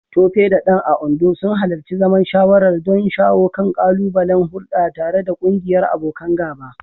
Tope da Dan, a Ondo, sun halarci zaman shawarwari don shawo kan ƙalubalen hulɗa tare da ƙungiyar abokan gaba.